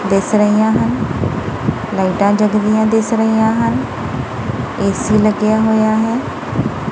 ਦਿਸ ਰਹੀਆਂ ਹਨ ਲਾਈਟਾਂ ਜਗਦੀਆਂ ਦਿਸ ਰਹੀਆਂ ਹਨ ਏਸੀ ਲੱਗਿਆ ਹੋਇਆ ਹੈ।